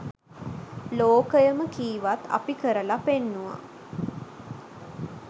ලෝකයම කීවත් අපි කරලා පෙන්නුවා.